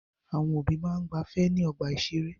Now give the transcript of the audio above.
Àwọn òbí máa ń gbafẹ́ ní ọgbà-ìṣeré.